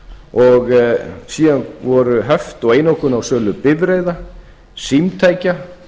og síðan voru höft og einokun á sölu bifreiða símtækja